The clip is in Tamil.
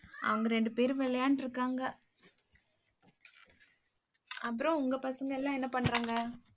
அவங்க ரெண்டு பேரும் விளையாண்டு இருக்காங்க. அப்புறம் உங்க பசங்க எல்லாம் என்ன பண்றாங்க